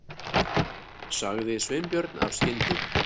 sagði Sveinbjörn af skyndi